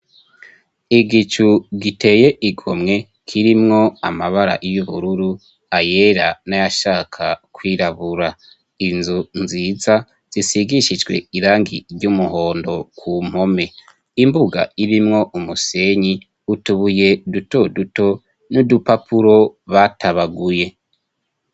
Igicu giteye igomwe kirimwo amabara y'ubururu ayera n'ayashaka kwirabura inzu nziza zisigishijwe irangi ry'umuhondo ku mpome imbuga irimwo umusenyi utubuye duto duto n'udupapuro batabaguye.